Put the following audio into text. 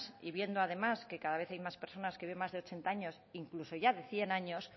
y viendo además que cada vez hay más personas que viven más de ochenta años incluso ya de cien años